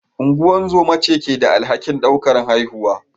Ungozoma ce ke da alhakin daukar haihuwa.